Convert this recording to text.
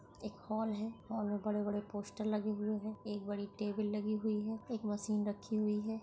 एक हॉल है हॉल मे बड़े-बड़े पोस्टर लगे हुए है एक बड़ी टेबल लगी हुई है एक मशीन रखी हुई है।